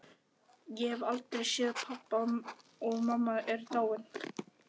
Ég hef aldrei séð pabba og mamma er dáin.